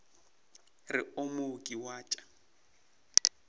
re o mooki wa tša